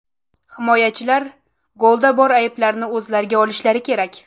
himoyachilar golda bor ayblarini o‘zlariga olishlari kerak.